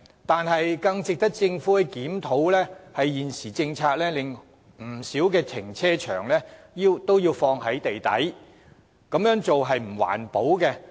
但是，更值得政府檢討的是，根據現行政策，不少停車場皆設置於地底，此舉並不環保。